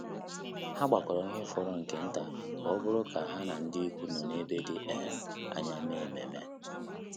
Há gbàkọ́rọ́ ihe fọrọ nke nta kà ọ́ bụ́rụ́ kà há na ndị ikwu nọ́ n’ébé dị́ um ányá mèé ememe.